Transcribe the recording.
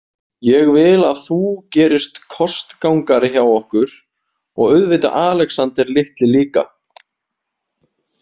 Ég vil að þú gerist kostgangari hjá okkur, og auðvitað Alexander litli líka.